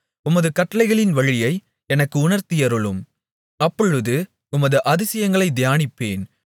உமது கட்டளைகளின் வழியை எனக்கு உணர்த்தியருளும் அப்பொழுது உமது அதிசயங்களைத் தியானிப்பேன்